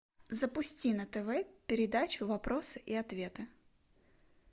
запусти на тв передачу вопросы и ответы